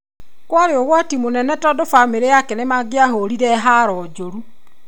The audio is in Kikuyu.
kwarĩ ũgwati mũno tondu bamĩrĩ yakwa nĩmangĩahoorire haro njũrũ